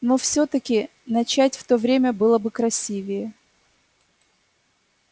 но всё-таки начать в то время было бы красивее